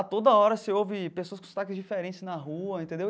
A toda hora você ouve pessoas com sotaques diferentes na rua, entendeu?